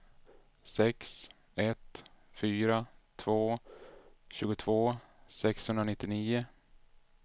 sex ett fyra två tjugotvå sexhundranittionio